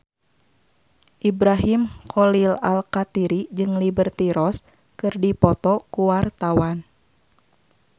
Ibrahim Khalil Alkatiri jeung Liberty Ross keur dipoto ku wartawan